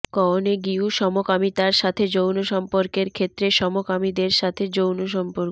কওনেগিউ সমকামিতার সাথে যৌন সম্পর্কের ক্ষেত্রে সমকামীদের সাথে যৌন সম্পর্ক